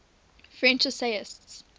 french essayists